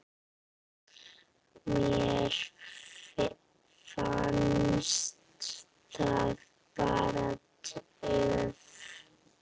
Mér fannst það bara. töff.